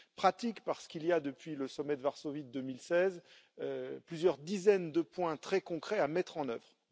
Pratique, parce qu'il y a depuis le sommet de Varsovie de 2016 plusieurs dizaines de points très concrets à mettre en œuvre.